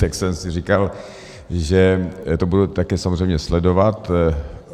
Tak jsem si říkal, že to také budu samozřejmě sledovat.